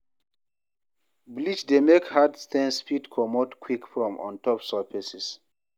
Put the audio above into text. Bleach dey make hard stains fit comot quick from ontop surfaces